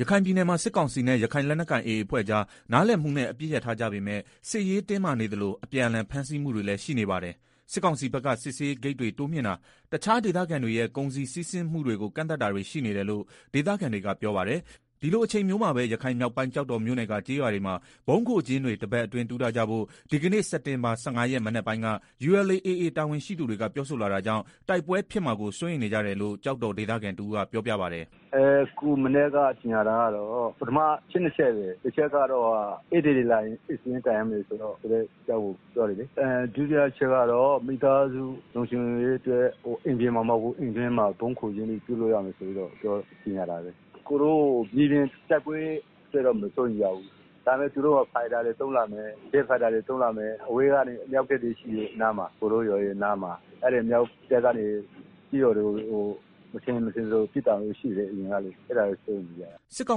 ရခိုင်ပြည်နယ်မှာ စစ်ကောင်စီနဲ့ ရခိုင်လက်နက်ကိုင် AA အဖွဲ့ကြား နားလည်မှုနဲ့ အပစ်ရပ်ထားကြပေမဲ့ စစ်ရေးတင်းမာနေသလို၊ အပြန်အလှန်ဖမ်းဆီးမှုတွေလည်း ရှိနေပါတယ်။ စစ်ကောင်စီဖက်က စစ်ဆေးရေးဂိတ်တွေ တိုးမြင့်တာ တခြားဒေသခံတွေရဲ့ ကုန်စည်စီးဆင်းမှုတွေကို ကန့်သတ်တာတွေရှိနေတယ်လို့ ဒေသခံတွေကပြောပါတယ်။ ဒီလိုအချိန်မျိုးပဲ ရခိုင်မြောက်ပိုင်း ကျောက်တော်မြို့နယ်က ကျေးရွာတွေမှာ ဗုံးခိုကျင်းတွေ တပတ်အတွင်း တူးထားကြဖို့ ဒီကနေ့ စက်တင်ဘာ ၁၅ ရက် မနက်ပိုင်းက ULA/AA တာဝန်ရှိသူတွေက ပြောဆိုလာတာကြောင့် တိုက်ပွဲဖြစ်မှာကို စိုးရိမ်နေကြရတယ်လို့ ကျောက်တော်ဒေသခံ တဦးကပြောပြပါတယ်။ “ ဒီနေ့မနက်ပိုင်းက ကြေငြာတာကတော့ အချက်နှစ်ချက်ပဲ ပထမ တချက်ကတော့ ဧည့်သည် တွေ လာလို့ရှိရင် ဧည့်စာရင်းတိုင်ရမယ့် အကြောင်းပြောတယ်၊ ဒုတိယတချက် ကတော့ မိသားစုလုံခြုံရေး အတွက် အိမ်ပြင်မှာ မဟုတ်ဘူး အိမ်တွင်းမှာ ဗုံးခိုကျင်းတွေပြုလုပ်ရမယ် ဆိုပြီးတော့ ကြေငြာတာပဲ။ မြေပြင်တိုက်ပွဲအတွက်တော့ မစိုးရိမ်ရဘူး၊ ဒါပေမယ့် သူတို့ ဂျက် ဖိုက်တာတွေ သုံးလာမယ်၊ အဝေးပစ်အမြောက်တွေရှိတယ်၊ ရွာအနားမှာ အဲဒီအမြောက်တပ်ကနေ ကျေးရွာတွေကို မထင်ရင် မထင်သလို ပစ်တာရှိတယ်၊ အရင်ကလည်း အဲတာတွေ စိုးရိမ်ရတယ်။” စစ်ကော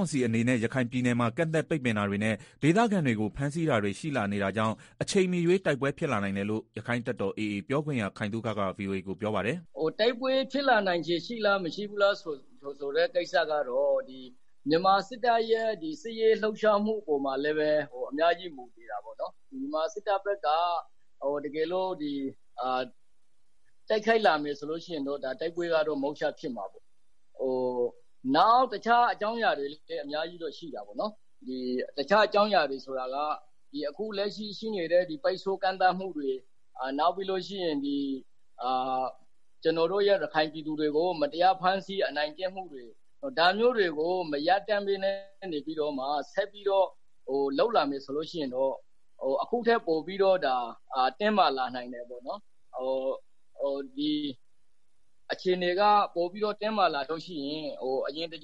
င်စီအနေနဲ့ ရခိုင်ပြည်နယ်မှာ ကန့်သတ်ပိတ်ပင်တာတွေနဲ့ ဒေသခံတွေကို ဖမ်းဆီးတာတွေရှိလာနေတာကြောင့် အချိန်မရွှေးတိုက်ပွဲ ဖြစ်လာနိုင်တယ်လို့ ရက္ခိုင့်တပ်တော် AA ပြောခွင့်ရ ခိုင်သုခက ဗွီအိုအေကို ပြောပါတယ်။ “ တိုက်ပွဲဖြစ်လာနိုင်ခြေ ရှိလား မရှိဘူးလားဆိုတဲ့ ကိစ္စကတော့ မြန်မာစစ်တပ်ရဲ့ စစ်ရေး လှုပ်ရှားမှုအပေါ်မှာလည်းပဲ အများကြီးမူတည်တာပေါ့နော်၊ မြန်မာစစ်တပ်ဖက်က တိုက်ခိုက် လာမယ်ဆိုလို့ရှိရင်တော့ တိုက်ပွဲက မုချဖြစ်မယ်၊ နောက်တခြားအကြောင်း အရာတွေလည်း အများကြီးရှိတာပေါ့နော်၊ အခုလက်ရှိ ရှိနေတဲ့ ပိတ်ဆို့ကန့်သတ်မှုတွေ၊ နောက်ပြီးတော့ ကျနော်တို့ရဲ့ ရခိုင်ပြည်သူတွေကို မတရားဖမ်းဆီး အနိုင်ကျင့်မှုတွေ ဒါမျိုးတွေကို မရပ်တန့်ပဲနဲ့ ဆက်ပြီးတော့ လုပ်လာမယ်ဆိုလို့ရှိရင် အခုကထက် ပိုပြီးတော့ တင်းမာလာနိုင်တယ်၊ အခြေအနေကပိုပြီးတော့ တင်းမာလာရင် အရင်လို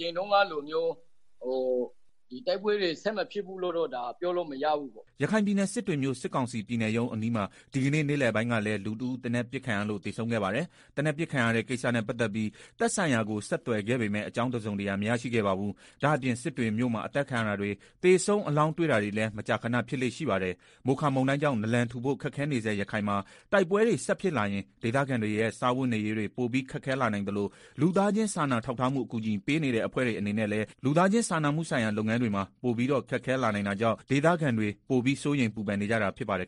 တိုက်ပွဲတွေ ဆက်မဖြစ်ဘူးလို့တော့ ပြောလို့မရဘူးပေါ့နော်။” ရခိုင်ပြည်နယ် စစ်တွေမြို့ စစ်ကောင်စီပြည်နယ်ရုံး အနီးမှာ ဒီကနေ့ နေ့လည်ပိုင်းကလည်း လူတဦးသေနတ်ပစ်ခံရလို့ သေဆုံးခဲ့ပါတယ်။ သေနတ်ပစ်ခံရတဲ့ ကိစ္စနဲ့ ပတ်သတ်ပြီး သက်ဆိုင်ရာကို ဆက်သွယ်ခဲ့ပေမဲ့ အကြောင်းတစုံတရာ မရရှိခဲ့ပါဘူး။ ဒါ့အပြင် စစ်တွေမြို့မှာ အသတ်ခံရတာတွေ သေဆုံး အလောင်းတွေ့တာတွေလည်း မကြာခဏ ဖြစ်လေ့ရှိပါတယ်။ မိုခါမုန်တိုင်းကြောင့်နလန်ထူဖို့ ခက်ခဲနေဆဲရခိုင်မှာ တိုက်ပွဲတွေ ဆက်ဖြစ်လာရင် ဒေသခံ တွေရဲ့ စားဝတ်နေရေးတွေ ပိုပြီး ခက်ခဲလာနိုင်သလို လူသားချင်းစာနာထောက်ထားမှုအကူအညီပေးနေတဲ့ အဖွဲ့တွေအနေနဲ့လည်း လူသားချင်းစာနာမှုဆိုင်ရာလုပ်ငန်းတွေမှာ ပိုပြီးတော့ ခက်ခဲလာနိုင်တာကြောင့် ဒေသခံတွေ ပိုပြီးစိုးရိမ် ပူပန်နေကြတာဖြစ်ပါတယ်